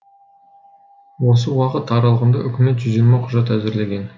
осы уақыт аралығында үкімет жүз жиырма құжат әзірлеген